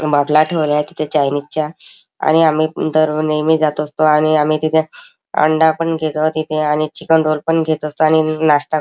बाटला ठेवल्यात तिथे चायनीज च्या आणि आम्ही अम तर नेहमी जात असतो आणि आम्ही तिथे अंडा पण घेतो तिथे आणि चिकन रोल पण घेत असतो आणि अम नाश्ता--